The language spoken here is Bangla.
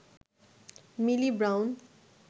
মিলি ব্রাউন